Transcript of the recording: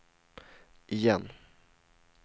igen